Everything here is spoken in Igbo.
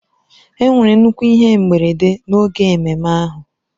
Enwere nnukwu ihe mberede n'oge ememme ahụ.